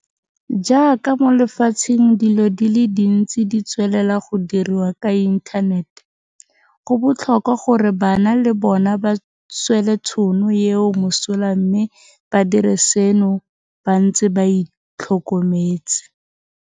Jaaka mo lefatsheng dilo di le dintsi di tswelela go diriwa ka inthanete, go botlhokwa gore bana le bona ba swele tšhono eo mosola mme ba dire seno ba ntse ba itlhokometse.